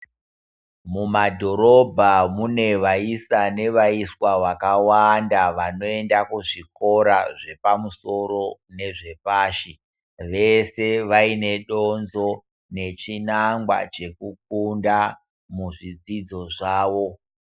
Mu madhorobha mune vaisa ne vaiswa vakawanda vanoenda ku zvikora zvepa musoro nezve pashi vese vaine donzvo ne chinangwa cheku funda mu zvidzidzo zvawo.